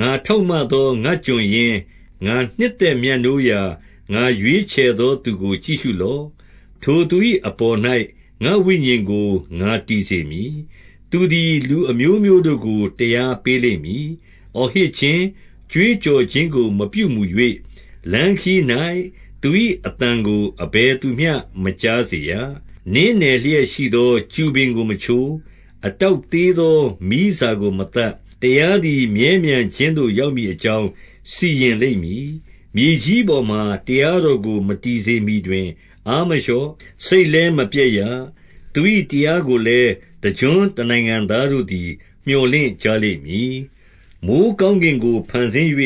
ငါထောက်မသော ငါ့ကျွန်ရင်း၊ ငါနှစ်သက် မြတ်နိုးရာ ငါရွေးချယ်သော သူကို ကြည့်ရှုလော့။ ထိုသူ ၏အပေါ်၌ ငါ့ဝိညာဉ်ကို ငါတည်စေမည်။ သူသည် လူ အမျိုးမျိုးတို့ကို တရားပေးလိမ့်မည်။ 2 အော်ဟစ်ခြင်း၊ ကြွေးကြော်ခြင်းကို မပြုမူ၍၊ လမ်းခရီး၌သူ၏အသံကို အဘယ်သူမျှမကြားစေရ။ 3 နင်းနယ်လျက်ရှိသော ကျူပင်ကို မချိုး။ အတောက်သေးသော မီးစာကို မသတ်။ တရားသည် မြဲမြံ ခြင်းသို့ ရောက်မည်အကြောင်း စီရင်လိမ့်မည်။ 4 မြေကြီးပေါ်မှာ တရားတော်ကို မတည်စေမှီတွင် အားမလျော့၊ စိတ်လည်းမပျက်ရ။ သူ၏တရားကိုလည်း၊ တကျွန်းတနိုင်ငံသားတို့သည် မြော်လင့်ကြလိမ့်မည်။ 5 မိုဃ်းကောင်းကင်ကို ဖန်ဆင်း၍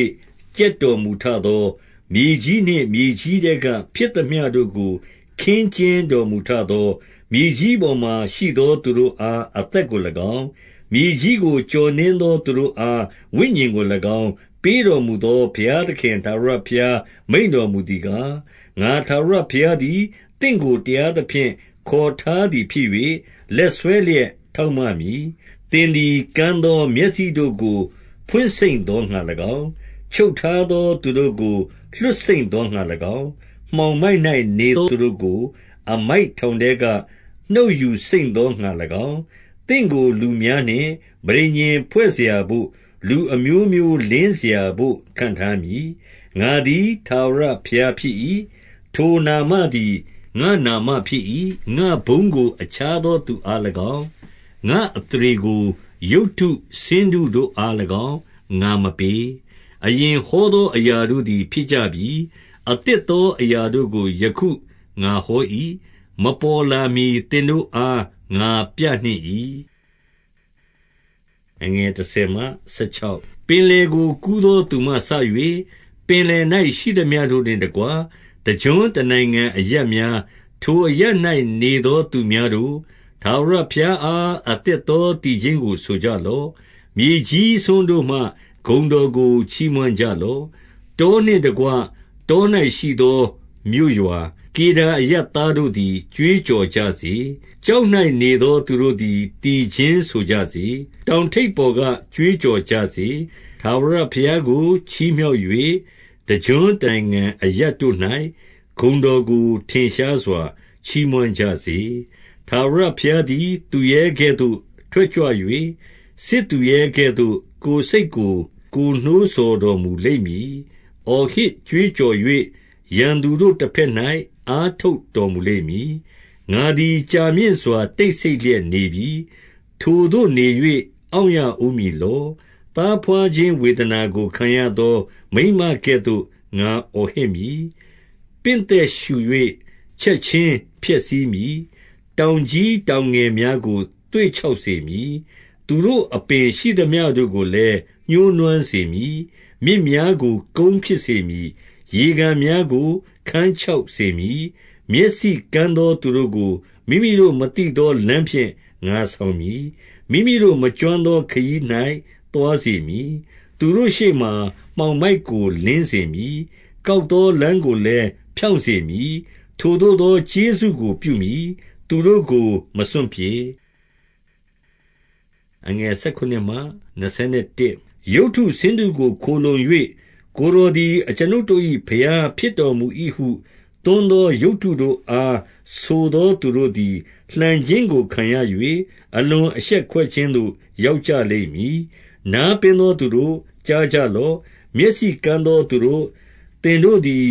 ကြက်တော်မူ ထသော၊ မြေကြီးနှင့် မြေကြီးထဲက ဖြစ်သမျှတို့ကို ခင်းကျင်းတော်မူထသော၊ မြေကြီးပေါ်မှာ ရှိသောသူတို့ အား အသက်ကို၎င်း၊ မြေကြီးကို ကျော်နင်းသော သူတို့ အား ဝိညာဉ်ကို၎င်း ပေးတော်မူသော ဘုရားသခင် ထာဝရဘုရား မိန့်တော်မူသည်ကား၊ 6 ငါ ထာဝရဘုရားသည် သင့်ကို တရားသဖြင့် ခေါ်ထားသည်ဖြစ်၍၊ 7 လက်ဆွဲလျက် ထောက်မမည်။ သင်သည် ကန်း သော မျက်စိတို့ကို ဖွင့်စိမ့်သောငှါ၎င်း၊ ချုပ်ထားသော သူတို့ကို လွှတ်စိမ့်သောငှါ၎င်း၊ မှောင်မိုက်၌နေသော သူတို့ကို အမိုက်ထောင်ထဲက နှုတ်ယူစိမ့်သောငှါ၎င်း၊ သင့်ကို လူများနှင့် ပဋိညာဉ်ဖွဲ့စရာဘို့၊ လူအမျိုးမျိုး လင်းစရာဘို့ ခန့်ထားမည်။ 8 ငါသည် ထာဝရဘုရားဖြစ်၏။ ထိုနာမသည် ငါ့နာမဖြစ်၏။ ငါ့ဘုန်းကို အခြားသော သူအား၎င်း၊ ငါ့ အသရေကို ရုပ်တုဆင်းတုတို့အား၎င်း ငါမပေး။ 9 အရင်ဟောသော အရာတို့သည် ဖြစ်ကြပြီ။ အသစ်သော အရာတို့ကို ယခု ငါဟော၏။ မပေါ်လာမှီ သင်တို့အား ငါပြနှင့်၏။ 10 ပင်လယ်ကို ကူးသော သူမှစ၍၊ ပင်လယ်၌ ရှိသမျှတို့နှင့်တကွ၊ တကျွန်းတနိုင်ငံအရပ်များ၊ ထိုအရပ်၌ နေသော သူများတို့၊ ထာဝရဘုရားအား အသစ်သော သီချင်းကိုဆိုကြလော့။ မြေကြီးစွန်းတို့မှ ဂုဏ်တော်ကို ချီးမွမ်းကြလော့။ 11 တောနှင့်တကွ တော၌ရှိသော မြို့ရွာ၊ ကေဒါ အရပ်သားတို့သည် ကြွေးကြော်ကြစေ။ ကျောက်၌ နေသော သူတို့သည် သီချင်းဆိုကြစေ။ တောင်ထိပ်ပေါ် က ကြွေးကြော်ကြစေ။ 12 ထာဝရဘုရားကို ချီးမြှောက်၍၊ တကျွန်းတနိုင်ငံ အရပ်တို့၌ ဂုဏ်တော်ကို ထင်ရှားစွာ ချီးမွမ်းကြစေ။ 13 ထာဝရဘုရားသည် သူရဲကဲ့သို့ ထွက်ကြွ၍၊ စစ်သူရဲကဲ့သို့ ကိုယ်စိတ်ကို ကိုယ်နှိုးဆော်တော်မူလိမ့်မည်။အော်ဟစ်ကြွေးကြော်၍ ရန်သူတို့တဘက်၌ အားထုတ် တော်မူလိမ့်မည်။ 14 ငါသည် ကြာမြင့်စွာ တိတ်ဆိတ်လျက်နေပြီ။ ထိုသို့နေ၍ အောင့်ရဦးမည်လော။ သားဘွားခြင်းဝေဒနာ ကို ခံရသော မိန်းမကဲ့သို့ ငါအော်ဟစ်မည်။ ပင့်သက်ရှု၍ ချက်ခြင်း ဖျက်ဆီးမည်။ 15 တောင်ကြီးတောင်ငယ်များကို သွေ့ခြောက်စေ မည်။ သူတို့အပင်ရှိသမျှတို့ကိုလည်း ညှိုးနွမ်းစေမည်။ မြစ်များကို ကုန်းဖြစ်စေမည်။ ရေကန်များကို ခန်းခြောက် စေမည်။ 16 မျက်စိကန်းသော သူတို့ကို မိမိတို့မသိသော လမ်းဖြင့် ငါဆောင်မည်။ မိမိတို့ မကျွမ်းသော ခရီး၌ သွားစေမည်။ သူတို့ရှေ့မှာ မှောင်မိုက်ကို လင်းစေမည်။ ကောက်သော လမ်းကိုလည်း ဖြောင့်စေမည်။ ထိုသို့သော ကျေးဇူးကို ပြုမည်။ သူတို့ကို မစွန့်ပစ်။ 17 ရုပ်တုဆင်းတုကို ခိုလှုံ၍၊ ကိုယ်တော်သည် အကျွန်ုပ်တို့၏ ဘုရားဖြစ်တော်မူ၏ဟု သွန်းသော ရုပ်တု တို့အား ဆိုသော သူတို့သည် လှန်ခြင်းကို ခံရ၍၊ အလွန် အရှက်ကွဲခြင်းသို့ ရောက်ကြလိမ့်မည်။ 18 နားပင်းသော သူတို့၊ ကြားကြလော့။ မျက်စိ ကန်းသောသူတို့၊ သင်တို့သည်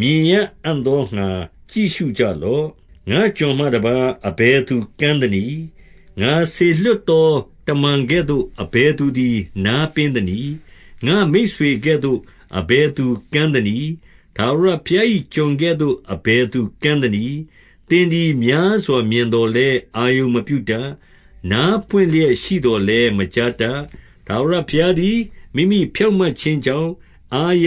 မြင်ရအံ့သောငှါ ကြည့်ရှု ကြလော့။ 19 ငါ့ကျွန်မှတပါး အဘယ်သူ ကန်းသနည်း။ ငါစေလွှတ်သော တမန်ကဲ့သို့ အဘယ်သူသည် နားပင်း သနည်း။ ငါ့မိတ်ဆွေကဲ့သို့ အဘယ်သူကန်းသနည်း။ ထာဝရဘုရား၏ ကျွန်ကဲ့သို့ အဘယ်သူ ကန်းသနည်း။ 20 သင်သည် များစွာမြင်သော်လည်း အာရုံမပြု တတ်။ နားပွင့်လျက်ရှိသော်လည်း မကြားတတ်။ 21 ထာဝရဘုရားသည် မိမိဖြောင့်မတ်ခြင်းကြောင့် အားရ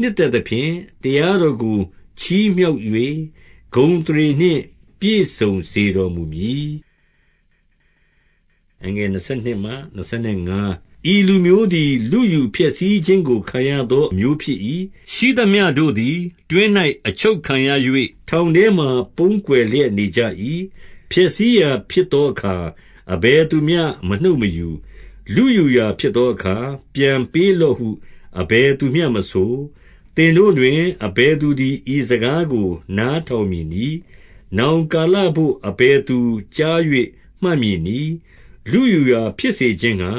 နှစ်သက်သဖြင့်၊ တရားတော်ကို ချီးမြှောက်၍ ဂုဏ်အသရေနှင့် ပြည့်စုံစေတော်မူမည်။ 22 ဤလူမျိုးသည် လုယူဖျက်ဆီးခြင်းကို ခံရသော အမျိုးဖြစ်၏။ ရှိသမျှတို့သည် တွင်း၌ အချုပ်ခံရ၍၊ ထောင် ထဲမှာ ပုန်းကွယ်လျက်နေကြ၏။ ဖျက်ဆီးရာဖြစ်သော အခါ၊ အဘယ်သူမျှ မနှုတ်မယူ။ လုယူရာဖြစ်သောအခါ၊ ပြန်ပေးလော့ဟု အဘယ်သူမျှမဆို။ 23 သင်တို့တွင် အဘယ်သူသည် ဤစကားကို နားထောင်မည်နည်း။ နောင်ကာလဘို့ အဘယ်သူကြား၍ မှတ်မည်နည်း။ 24 လုယူရာဖြစ်စေခြင်းငှါ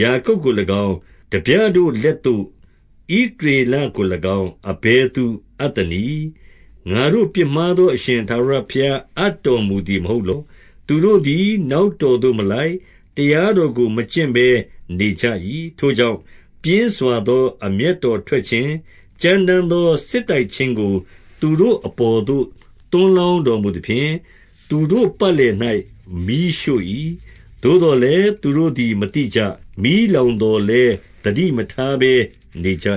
ယာကုပ်ကို၎င်း၊ ထားပြ တို့ လက်သို့ ဣသရေလကို၎င်း အဘယ်သူ အပ်သနည်း။ ငါတို့ ပြစ်မှားသော အရှင်ထာဝရဘုရား အပ်တော်မူ သည်မဟုတ်လော။ သူတို့သည် နောက်တော်သို့ မလိုက်၊ တရားတော်ကို မကျင့်ဘဲ နေကြ၏။ 25 ထို့ကြောင့်၊ ပြင်းစွာသော အမျက်တော်ထွက် ခြင်း ကြမ်းတမ်းသော စစ်တိုက်ခြင်းကို သူတို့အပေါ်သို့ သွန်းလောင်းတော်မူသဖြင့်၊ သူတို့ပတ်လည်၌ မီးရှို့၏။ သို့သော်လည်း၊ သူတို့သည် မသိကြ။ မီးလောင်သော် လည်း၊ သတိမထားဘဲ နေကြ